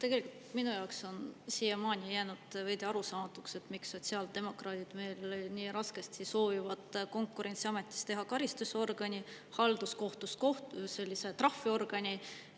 Tegelikult minu jaoks on siiamaani jäänud veidi arusaamatuks, miks sotsiaaldemokraadid meil nii raskesti soovivad Konkurentsiametist teha karistusorgani, halduskohtust sellise trahviorgani.